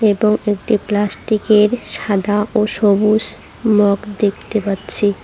এবং একটি প্লাস্টিকের সাদা ও সবুজ মগ দেখতে পাচ্ছি।